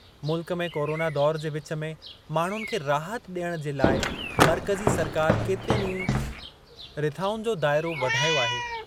मुल्क में कोरोना दौरु जे विच में माण्हुनि खे राहत ॾियण जे लाइ मर्कज़ी सरकार केतिरियुनि ई रिथाउनि जो दाइरो वधायो आहे।